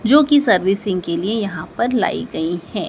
जो की सर्विसिंग के लिए यहां पर लाई गई है।